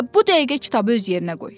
Elə bu dəqiqə kitabı öz yerinə qoy.